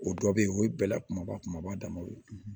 O dɔ be yen o ye bɛla kumaba kumaba damaw ye